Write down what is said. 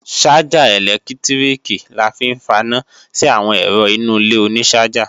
Ṣájà ẹ̀lẹ́tíríkì la fi ń faná sí àwọn ẹ̀rọ inú ilé oní ṣájà